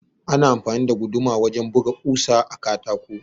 Ana amfani da guduma wajen buga ɓusa a katako.